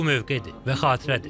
Bu mövqedir və xatirədir.